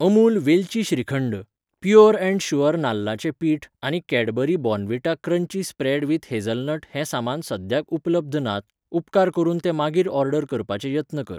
अमूल वेलची shrikhand, pure and sure नाल्लाचें पिठ आनी Cadbury Bournvita crunchy spread with hazelnut हें सामान सद्याक उपलब्ध नात, उपकार करून ते मागीर ऑर्डर करपाचे यत्न कर.